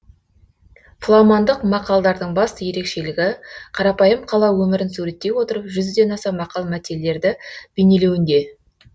фламандық мақалдардың басты ерекшелігі қарапайым қала өмірін суреттей отырып жүзден аса мақал мәтелдерді бейнелеуінде